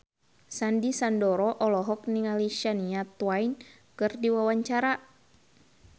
Sandy Sandoro olohok ningali Shania Twain keur diwawancara